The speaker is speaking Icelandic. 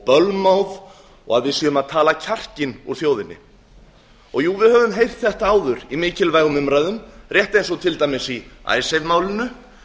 bölmóð og að við séum að tala kjarkinn úr þjóðinni jú við höfum heyrt þetta áður í mikilvægum umræðum rétt eins og til dæmis í icesave málinu